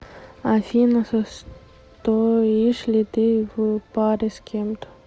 афина состоишь ли ты в паре с кем то